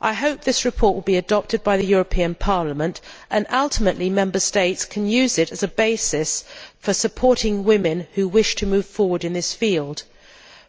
I hope that this report will be adopted by the European Parliament, and that ultimately Member States will be able to use it as a basis for supporting women who wish to move forward in this field,